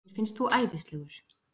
Mér finnst þú æðislegur.